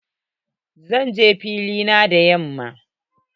Zan je fili na da yamma.